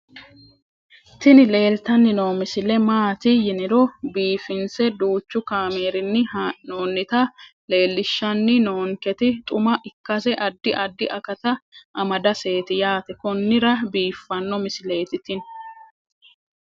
tini leeltanni noo misile maaati yiniro biifinse danchu kaamerinni haa'noonnita leellishshanni nonketi xuma ikkase addi addi akata amadaseeti yaate konnira biiffanno misileeti tini